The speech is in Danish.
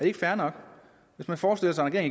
ikke fair nok hvis man forestiller sig at